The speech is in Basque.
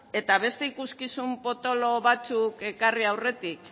eta beste ikuskizun potolo batzuk ekarri aurretik